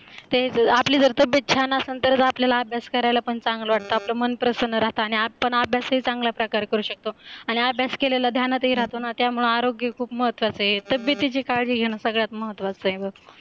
आपली जर तब्येत छान असेल तर ग आपल्याला अभ्यास करायला पण चांगला वाटतं आपल मन अभ्यासही चांगल्या प्रकारे करू शकतो आणि अभ्यास केलेला ध्यानातही राहतो ना त्यामुळे आरोग्य खूप महत्त्वाचे तब्येतीची काळजी घेणे सगळ्यात महत्त्वाच आहे बघ